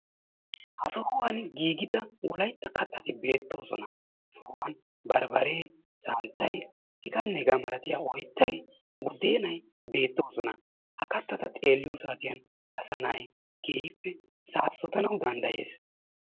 ha sohuwaan giigida wolaytta kattati beettoosona. ha sohuwaan barbbaree santtay hegaanne hegaa milatiyaa ooyttay buddeenay beettoosona. ha kattata xeeliyoo saatiyan asa na'ay keehippe saassotanawu danddayees.